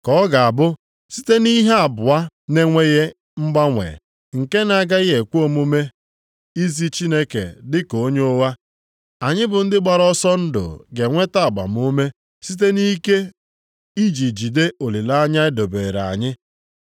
Ka ọ ga-abụ site nʼihe abụọ na-enweghị mgbanwe, nke na-agaghị ekwe omume izi Chineke dịka onye ụgha, anyị bụ ndị gbara ọsọ ndụ ga-enweta agbamume siri ike iji jide olileanya e dobeere anyị.